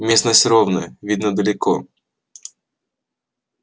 местность ровная видно далеко